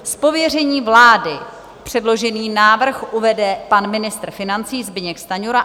Z pověření vlády předložený návrh uvede pan ministr financí Zbyněk Stanjura.